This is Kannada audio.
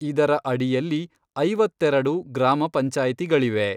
ಇದರ ಅಡಿಯಲ್ಲಿ ಐವತ್ತೆರಡು ಗ್ರಾಮ ಪಂಚಾಯಿತಿಗಳಿವೆ.